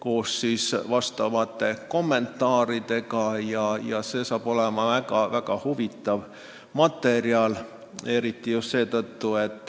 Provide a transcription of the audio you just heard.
See sisaldab ka kommentaare ja saab olema väga huvitav teos.